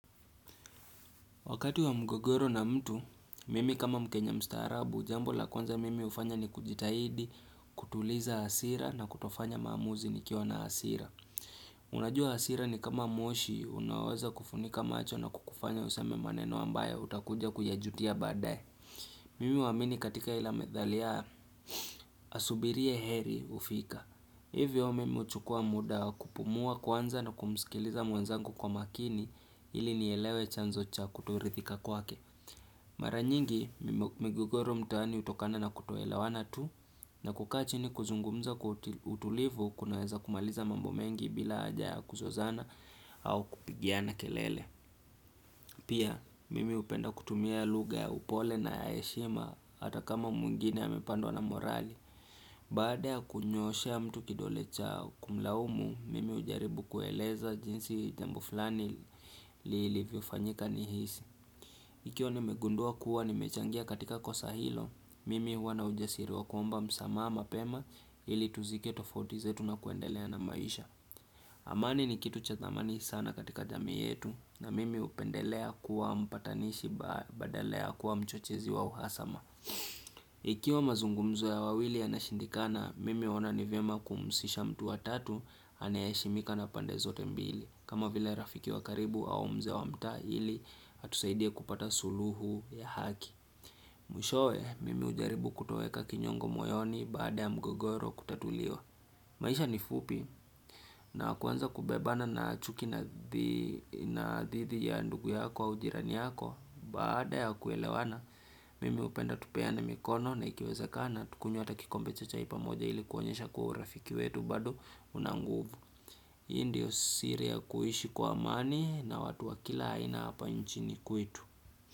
Wakati wa mgogoro na mtu, mimi kama mkenya mstaraabu, jambo la kwanza mimi ufanya ni kujitahidi, kutuliza hasira na kutofanya maamuzi nikiwa na hasira. Unajua hasira ni kama moshi, unaoweza kufunika macho na kukufanya useme maneno ambayo utakuja kuyajutia badaye Mimi huamini katika ila methali ya, asubirie heri hufika. Hivyo mimi uchukua muda kupumua kwanza na kumsikiliza mwenzangu kwa makini ili nielewe chanzo cha kutorithika kwake. Mara nyingi, mime migogoro mtaani hutokana na kutoelewana tu na kukaa kuzungumza kwa utulivu kunaweza kumaliza mambo mengi bila haja ya kuzozana au kupigiana kelele Pia, mimi hupenda kutumia lugha ya upole na ya heshima hata kama mwingine amepandwa na morali Baada ya kunyooshea mtu kidole cha kumlaumu, mimi hujaribu kueleza jinsi jambo fulani lilivyofanyika ni hisi Ikiwa ni nimegundua kuwa nimechangia katika kosa hilo, mimi huwa ujasiri wa kuomba msamaha mapema ili tuzike tofauti zetu na kuendelea na maisha. Amani ni kitu cha dhamani sana katika jamii yetu na mimi hupendelea kuwa mpatanishi badala ya kuwa mchochezi wa uhasama. Ikiwa mazungumzo ya wawili yanashindikana, mimi huoana ni vyema kumhusisha mtu wa tatu anaye heshimika na pande zote mbili. Kama vile rafiki wa karibu au mzee wa mtaa ili atusaidia kupata suluhu ya haki Mwishowe mimi hujaribu kutoweka kinyongo moyoni baada ya mgogoro kutatuliwa maisha ni fupi na kuanza kubebana na chuki na thidi ya ndugu yako au jirani yako Baada ya kuelewana mimi hupenda tupeana mikono na ikiwezakana Tukunywe hata kikombe cha chai pamoja ili kuonyesha kua urafiki wetu bado una nguvu Hii ndio siri ya kuishi kwa amani na watu wa kila aina hapa nchini kwetu.